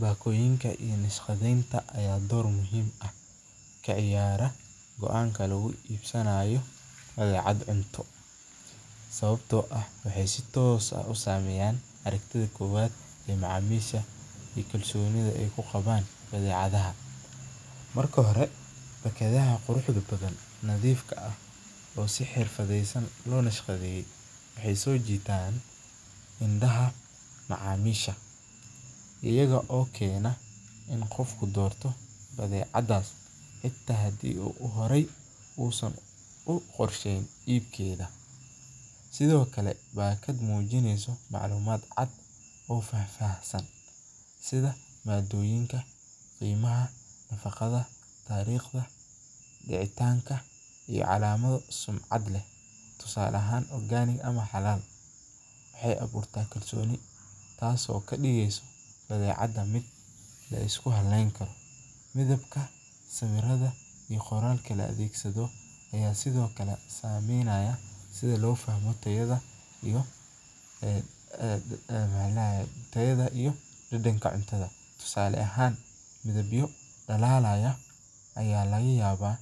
Bakoyinka ayaa door muhiim ah kaciyaraa badecda cunto, waxeey sameyan aragtida, kuwa nadiifka waxeey soo jitaan indaha macamisha, ayago keeno gadashada, mid mujineyso calamada cadcad, tusaale ahaan xalaal, taas oo kadigeysa mid laisku haleen Karo, tayada iyo dadanka, tusaale ahaan kuwa dalaalaya ayaa